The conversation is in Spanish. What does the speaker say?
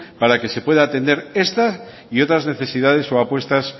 para que se pueda atender esta y otras necesidades o apuestas